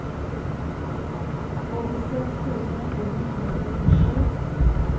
åttiseks tusen åtte hundre og syttisju